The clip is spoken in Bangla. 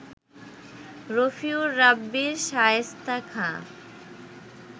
রফিউর রাব্বির শায়েস্তা খাঁ